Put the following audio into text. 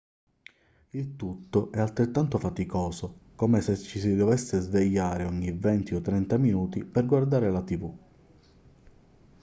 il tutto è altrettanto faticoso come se ci si dovesse svegliare ogni venti o trenta minuti per guardare la tv